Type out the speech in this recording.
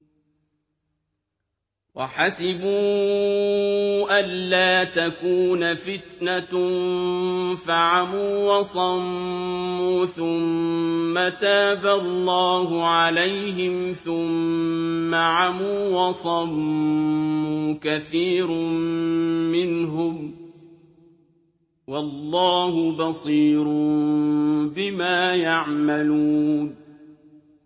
وَحَسِبُوا أَلَّا تَكُونَ فِتْنَةٌ فَعَمُوا وَصَمُّوا ثُمَّ تَابَ اللَّهُ عَلَيْهِمْ ثُمَّ عَمُوا وَصَمُّوا كَثِيرٌ مِّنْهُمْ ۚ وَاللَّهُ بَصِيرٌ بِمَا يَعْمَلُونَ